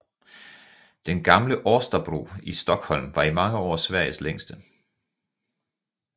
Den gamle Årstabro i Stockholm var i mange år Sveriges længste